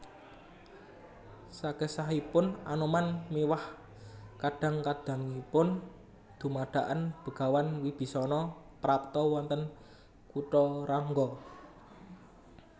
Sakesahipun Anoman miwah kadang kadangipun dumadakan Begawan Wibisana prapta wonten Kutharangga